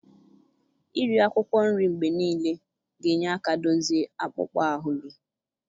Iri akwụkwọ nri mgbe niile ga-enye aka dozie akpụkpọ ahụ gị.